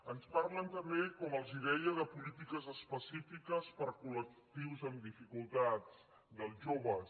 ens parlen també com els deia de polítiques específiques per a col·lectius amb dificultats dels joves